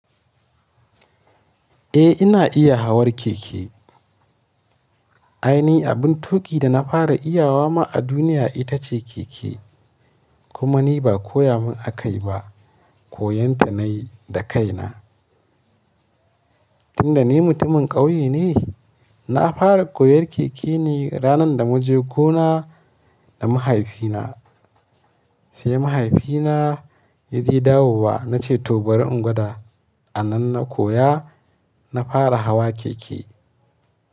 Eh ina iya hawar keke. Ai ni abin tuƙi da na fara iyawa ma a duniya ita ce keke. Kuma ni ba koya mun akai ba, koyon ta nayi da kaina. Tunda ni mutumin ƙauye ne, na fara koyar keke ne ranar da mu je gona da mahaifina. Sai mahaifina ya je dawowa na ce to bari in gwada. A nan na koya na fara hawa keke.